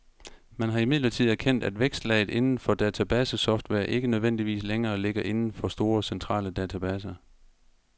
Man har imidlertid erkendt, at vækstlaget inden for databasesoftware ikke nødvendigvis længere ligger inden for store centrale databaser.